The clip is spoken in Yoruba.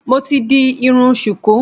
Mo ti di irun ṣùkú